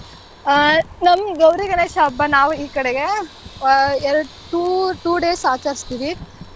ಆಹ್ ನಮ್ ಗೌರಿ ಗಣೇಶ ಹಬ್ಬ ನಾವು ಈ ಕಡೆಗೆ ಆಹ್ ಎರಡ್ two two days ಆಚರಿಸ್ತೀವಿ.